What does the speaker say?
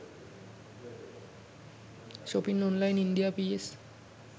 shopping online india ps